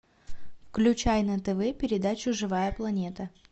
включай на тв передачу живая планета